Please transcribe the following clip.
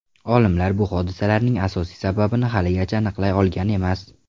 Olimlar bu hodisalarning asosiy sababini haligacha aniqlay olgan emas.